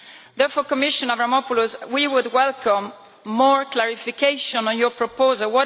Therefore, Commissioner Avramopoulos, we would welcome more clarification on your proposal.